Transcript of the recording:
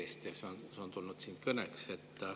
See on siin kõneks tulnud.